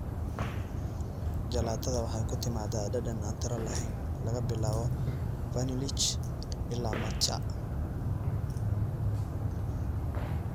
Jalaatada waxay ku timaadaa dhadhan aan tiro lahayn, laga bilaabo vanilj ilaa matcha.